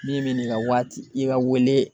Min bɛ n'i ka waati i ka wele.